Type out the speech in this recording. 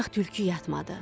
Ancaq tülkü yatmadı.